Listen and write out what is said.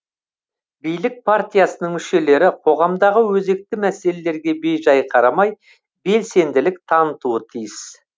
билік партиясының мүшелері қоғамдағы өзекті мәселелерге бейжай қарамай белсенділік танытуы тиіс